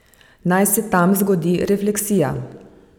Naj se tam zgodi refleksija.